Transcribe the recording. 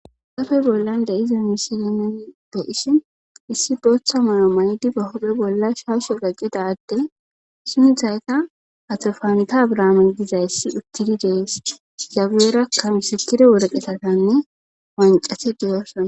Dafe bollan de7ize misilemin bo7isi issi booththa moyo maydi bahope bolla shaasho gaqqidadde sunthayka hatofanta braaman dizayssi uttidi dees zageerakkamisitide worqetatanne wancate diyoosona.